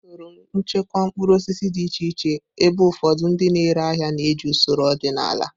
Usoro nchekwa mkpụrụ osisi dị iche iche, ebe ụfọdụ ndị na-ere ahịa na-eji usoro ọdịnala.